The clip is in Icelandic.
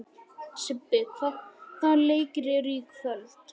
Sibbi, hvaða leikir eru í kvöld?